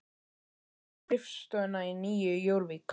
Hann sæi um skrifstofuna í Nýju Jórvík